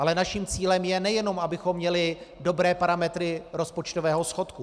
Ale naším cílem je, nejenom abychom měli dobré parametry rozpočtového schodku.